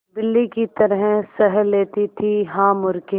बिल्ली की तरह सह लेती थीहा मूर्खे